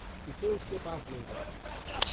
इसे उसके पास ले जाओ।